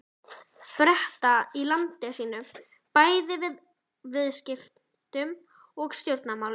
Breta í landi sínu bæði í viðskiptum og stjórnmálum.